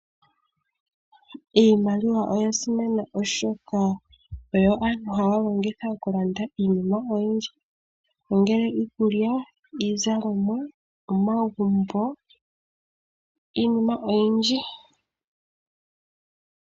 Iimaliwa oya simana oshoka oyo aantu haya longitha okulanda iinima oyindji nongele iikulya, iizalomwa, omagumbo niinima oyindji.